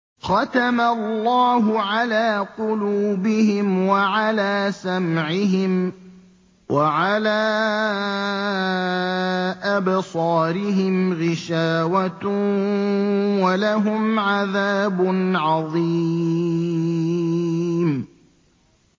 خَتَمَ اللَّهُ عَلَىٰ قُلُوبِهِمْ وَعَلَىٰ سَمْعِهِمْ ۖ وَعَلَىٰ أَبْصَارِهِمْ غِشَاوَةٌ ۖ وَلَهُمْ عَذَابٌ عَظِيمٌ